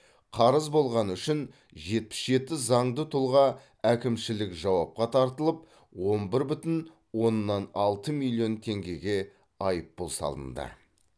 қарыз болғаны үшін жетпіс жеті заңды тұлға әкімшілік жауапқа тартылып он бір бүтін оннан алты миллион теңгеге айыппұл салынды